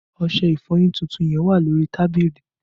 Ọṣẹ ìfọyín tuntun yẹn wà ní orí tábìlì